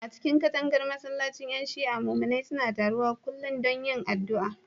A cikin katangar masallacin ƴan Shi'a, muminai suna taruwa kullum don yin addu'a.